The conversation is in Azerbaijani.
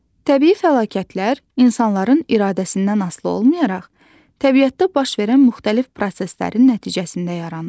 Təbii fəlakətlər insanların iradəsindən asılı olmayaraq təbiətdə baş verən müxtəlif proseslərin nəticəsidir.